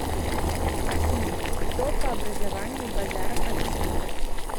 афина кто по образованию базаров александр